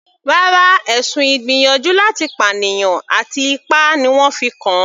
Rárá, ẹ̀sùn ìgbìyànjú láti pànìyàn àti ipá ni wọ́n fi kàn an.